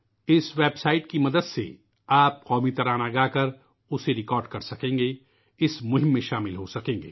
اس website کی مدد سے آپ قومی ترانہ گاکر ، اُسے ریکارڈ کر سکیں گے، اس مہم سے جڑ سکیں گے